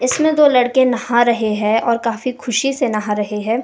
इसमें दो लड़के नहा रहे हैं और काफी खुशी से नहा रहे हैं।